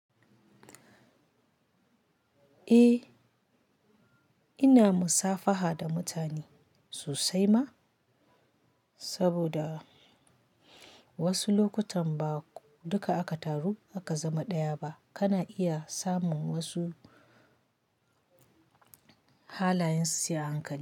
Eh, ina musafaha da mutane sosai ma, saboda wasu lokutan ba duka aka taru aka zama ɗaya ba, kana iya samun wasu halayen su sai a hankali.